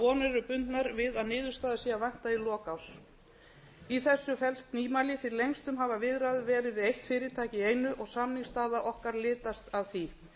vonir eru bundnar við að niðurstaða sé að vænta í lok árs í þessu felst nýmæli því lengstum hafa viðræður verið við eitt fyrirtæki í einu og samningsstaða okkar litast af því